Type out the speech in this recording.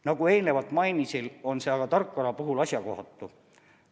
Nagu eelnevalt mainisin, on see aga tarkvara puhul asjakohatu.